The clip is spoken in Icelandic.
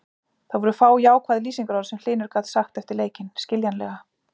Það voru fá jákvæð lýsingarorð sem Hlynur gat sagt eftir leikinn, skiljanlega.